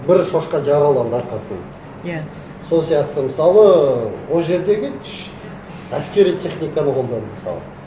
бір шошқа жараланды арқасынан иә сол сияқты мысалы ол жердегі әскери техниканы қолданды мысалы